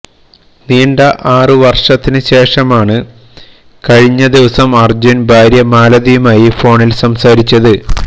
നീണ്ട ആറ് വർഷത്തിന് ശേഷമാണ് കഴിഞ്ഞ ദിവസം അർജുൻ ഭാര്യ മാലതിയമായി ഫോണിൽ സംസാരിച്ചത്